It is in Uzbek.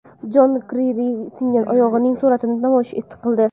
Jon Kerri singan oyog‘ining suratini namoyish qildi.